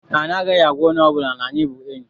Anyị agaghị agwa onye ọbụla na anyị bụ enyị.